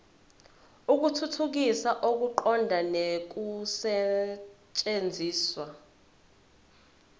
ukuthuthukisa ukuqonda nokusetshenziswa